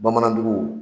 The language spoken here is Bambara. Bamanan jugu